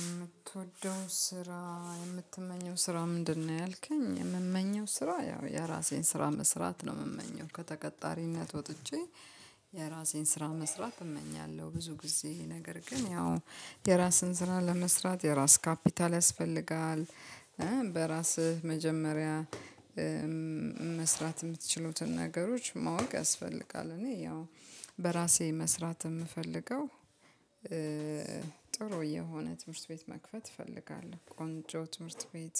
የምትወደው ስራ የምትመኘው ስራ ምንድነው? ያልከኝ የምመኘው ስራ ያው የራሴን ስራ መስራት ነው የምመኘው ከተቀጣሪነት ወጥቼ የራሴን ስራ መስራት እመኛለሁ። ብዙ ጊዜ ነገር ግን ያው የራስን ስራ ለመስራት የራስ ካፒታል ያስፈልጋል። በራስህ መጀመሪያ መስራት የምትችሉትን ነገሮች ማወቅ ያስፈልጋል። እኔ ያው በራሴ መስራት የምፈልገው ጥሩ የሆነ ትምህርት ቤት መክፈት እፈልጋለሁ። ቆንጆ ትምህርት ቤት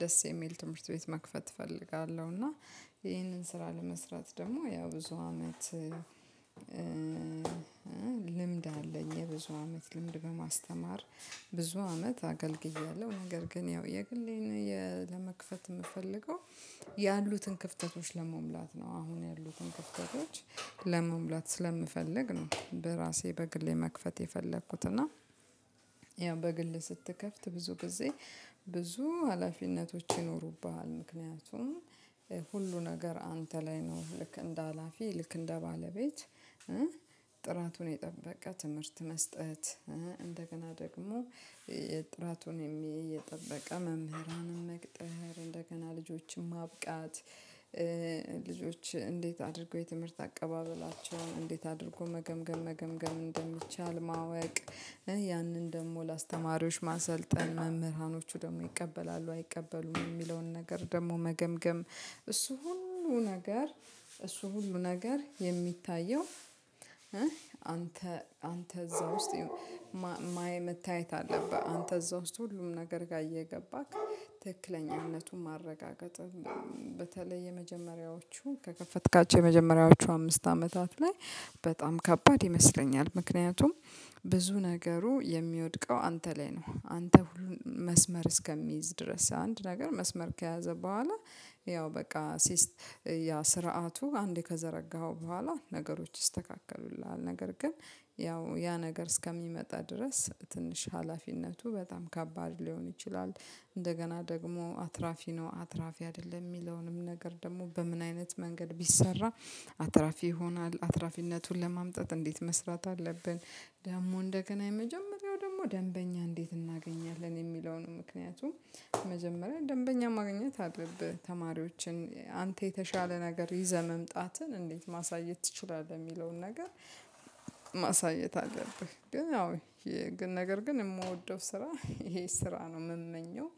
ደስ የሚል ትምህርት ቤት መክፈት እፈልጋለሁ። እና ይሄንን ስራ ለመስራት ደግሞ ያው ብዙ አመት ልምድ አለኝ የብዙ አመት ልምድ በማስተማር ብዙ አመት አገልግያለሁ። ነገር ግን ያው የግሌን ለመክፈት የምፈልገው ያሉትን ክፍተቶች ለመሙላት ነው አሁን ያሉትን ክፍተቶች ለመሙላት ስለምፈልግ ነው። በራሴ በግሌ መክፈት የፈለኩት እና ያው በግል ስትከፍት ብዙ ጊዜ ብዙ ሀላፊነቶች ይኖሩብሃል። ምክንያቱም ሁሉ ነገር አንተ ላይ ነው ልክ እንደ ሀላፊ ልክ እንደ ባለቤት። ጥራቱን የጠበቀ ትምህርት መስጠት እንደገና ደግሞ የጥራቱን የሚይ የጠበቀ መምህራንም መቅጥር እንደገና ልጆችን ማብቃት ልጆች እንዴት አድርጎ የትምህርት አቀባበላቸውን እንዴት አድርጎ መገምገም መገምገም እንደሚቻል ማወቅ። ያንን ደግሞ ለአስተማሪዎች ማሰልጠን መምህራኖቹ ደግሞ ይቀበላሉ አይቀበሉም የሚለውን ነገር ደግሞ መገምገም እሱ ሁሉ ነገር እሱ ሁሉ ነገር የሚታየው። አንተ አንተ እዛ ውስጥ መታየት አለብህ አንተ እዛ ውስጥ ሁሉም ነገር ጋር እየገባክ ትክክለኛነቱን ማረጋገጥ። በተለይ የመጀመሪያዎቹን ከከፈትካቸው የመጀመሪያዎቹ አምስት አመታት ላይ በጣም ከባድ ይመስለኛል ምክንያቱም ብዙ ነገሩ የሚወድቀው አንተ ላይ ነው። አንተ ሁሉን መስመር እስከሚይዝ ድረስ አንድ ነገር መስመር ከያዘ በኋላ ያው በቃ ሲስት ያ ስርዓቱ አንዴ ከዘረጋኸው በኋላ ነገሮች ስተካከሉልሃል ነገር ግን ያው ያ ነገር እስከሚመጣ ድረስ ትንሽ ሀላፊነቱ በጣም ከባድ ሊሆን ይችላል። እንደገና ደግሞ አትራፊ ነው አትራፊ አይደለም የሚለውንም ነገር ደግሞ በምን አይነት መንገድ ቢሰራ አትራፊ ይሆናል አትራፊነቱን ለማምጣት እንዴት መስራት አለብን? ደግሞ እንደገና የመጀመሪያው ደግሞ ደንበኛ እንዴት እናገኛለን? የሚለውን ምክንያቱም መጀመሪያ ደንበኛ ማግኘት አለብህ ተማሪዎችን አንተ የተሻለ ነገር ይዘህ መምጣትን እንዴት ማሳየት ትችላለህ? የሚለውን ነገር ማሳየት አለብህ ግን አዎ ይሄ ነገር ግን የምወደው ስራ ይሄ ስራ ነው። የምመኘው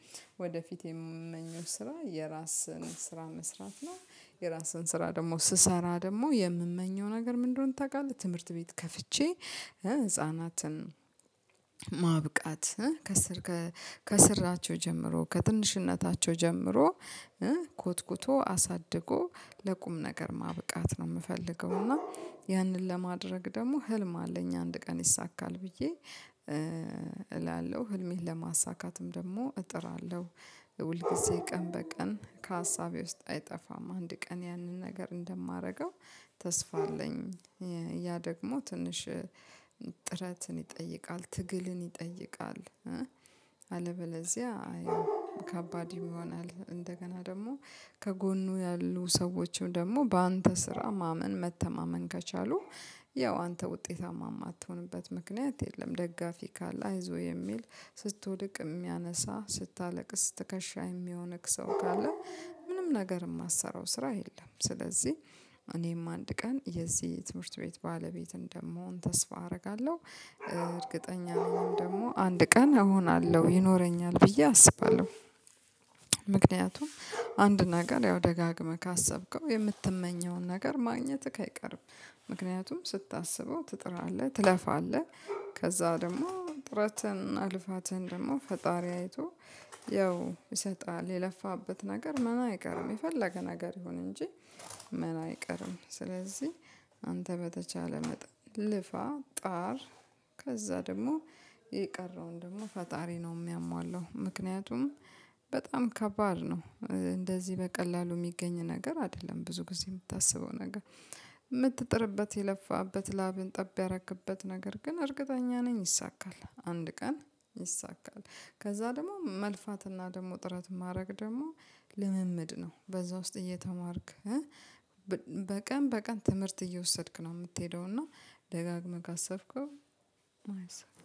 ወደፊት የምመኘው ስራ የራስን ስራ መስራት ነው። የራስን ስራ ደግሞ ስሰራ ደግሞ የምመኘው ነገር ምንድነው? ታውቃለህ ትምህርት ቤት ከፍቼ ህፃናትን ማብቃት ከስር ከስራቸው ጀምሮ ከትንሽነታቸው ጀምሮ ኮትኩቶ አሳድጎ ለቁም ነገር ማብቃት ነው። የምፈልገው እና ያንን ለማድረግ ደግሞ ህልም አለኝ አንድ ቀን ይሳካል ብዬ እላለሁ ህልሜን ለማሳካትም ደግሞ እጥራለሁ። ሁል ጊዜ ቀን በቀን ከሀሳቤ ውስጥ አይጠፋም አንድ ቀን ያንን ነገር እንደማደርገው ተስፋ አለኝ። ያ ደግሞ ትንሽ ጥረትን ይጠይቃል ትግልን ይጠይቃል። አለበለዚያ አይ ከባድ ይሆናል እንደገና ደግሞ ከጎኑ ያሉ ሰዎችም ደግሞ በአንተ ስራ ማመን መተማመን ከቻሉ ያው አንተ ውጤታማ የማትሆንበት ምክንያት የለም። ደጋፊ ካለ አይዞህ የሚል ስትወድቅ የሚያነሳ ስታለቅስ ትከሻ የሚሆንክ ሰው ካለ ምንም ነገር የማትሰራው ስራ የለም። ስለዚህ እኔም አንድ ቀን የዚህ ትምህርት ቤት ባለቤት እንደምሆን ተስፋ አደርጋለሁ እርግጠኛ ደግሞ አንድ ቀን እሆናለሁ ይኖረኛል ብዬ አስባለሁ። ምክንያቱም አንድ ነገር ያው ደጋግመህ ካሰብከው የምትመኘውን ነገር ማግኘትህ አይቀርም። ምክንያቱም ስታስበው ትጥራለህ ትለፋለህ። ከዛ ደግሞ ጥረትን እና ልፋትን ደግሞ ፈጣሪ አይቶ ያው ይሰጣል የለፋበት ነገር መና አይቀርም የፈለገ ነገር ይሁን እንጂ መና አይቀርም። ስለዚህ አንተ በተቻለ መጣል ልፋ ጣር ከዛ ደግሞ የቀረውን ደግሞ ፈጣሪ ነው የሚያሟላው ምክንያቱም በጣም ከባድ ነው። እንደዚህ በቀላሉ የሚገኝ ነገር አይደለም። ብዙ ጊዜ የምታስበው ነገር የምትጥርበት የለፋበት ላብን ጠብ ያረክበት ነገር ግን እርግጠኛ ነኝ ይይሳካል። አንድ ቀን ይሳካል ከዛ ደግሞ መልፋትና ደግሞ ጥረት ማድረግ ደግሞ ልምምድ ነው። በዛ ውስጥ እየተማርክ በቀን በቀን ትምህርት እየወሰድክ ነው የምትሄደው። እና ደጋግመህ ካሰብከው አይሰብም።